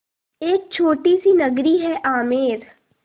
एक छोटी सी नगरी है आमेर